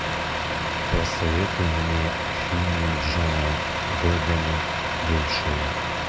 посоветуй мне фильмик джона бэдэма бывшие